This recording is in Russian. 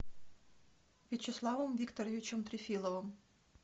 вячеславом викторовичем трефиловым